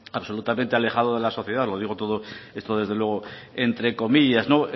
absolutamente alejado de la sociedad lo digo todo esto desde luego entre comillas no